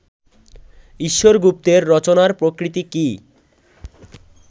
ঈশ্বর গুপ্তের রচনার প্রকৃতি কি